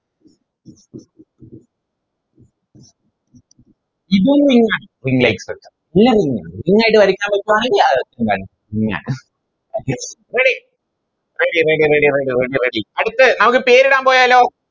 ഇതും Ring ആണ് Ring light structure എല്ലും ring ആണ് ring ആയിട്ട് വരക്കാൻ പേടി ആവുന്ന് Okay ആണ് Ready ready ready ready ready ready അടുത്തെ നമുക്ക് പേരിടാൻ പോയാലോ